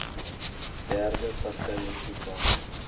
derde partye toegang